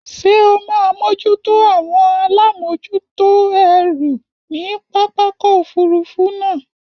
Ṣé o máa mójútó àwọn alámòjútó ẹrù ní pápákọ̀ òfurufú náà?